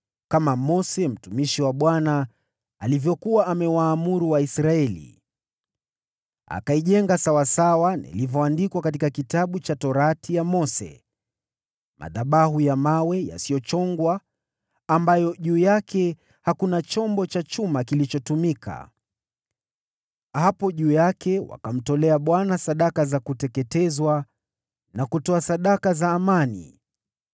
kama Mose mtumishi wa Bwana alivyokuwa amewaamuru Waisraeli. Akaijenga sawasawa na ilivyoandikwa katika Kitabu cha Sheria ya Mose: madhabahu ya mawe yasiyochongwa, ambayo juu yake hakuna chombo cha chuma kilichotumika. Hapo juu yake wakamtolea Bwana sadaka za kuteketezwa na kutoa sadaka za amani.